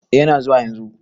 Eh yana zuwa yanzu.